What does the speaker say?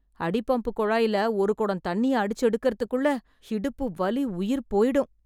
அடிபம்புக் குழாயில ஒரு குடம் தண்ணிய அடிச்சு எடுக்கறதுக்குள்ள, இடுப்பு வலி உயிர் போய்டும்.